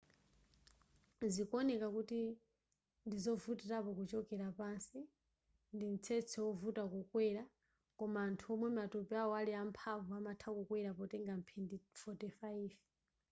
zikuoneka kuti ndizovutilako kuchokera pansi ndi mtsetse wovuta kukwera koma anthu omwe matupi awo ali amphamvu amatha kukwera potenga mphindi 45